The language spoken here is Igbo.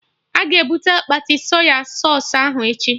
Aga ebute akpati Sọy sausụ ahụ echi?